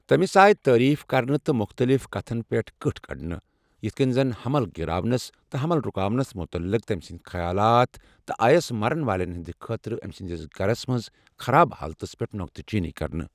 تمِس آیہِ تعریٖف کرنہٕ تہٕ مُختٔلِف كتھن پیٚٹھ کٕٹھٕ کڑنہٕ، یِتھہٕ كنہِ زن حمل گِراونس تہٕ حمل رُکاونس مُتعلِق تمہِ سٕنٛدِ خیالات، تہٕ آیس مَرن والیٚن ہِنٛدِ خٲطرٕ أمہِ سٕنٛدِس گَھرس منٛز خراب حالتس پیٚٹھ نو٘كتہٕ چینی كرنہٕ ۔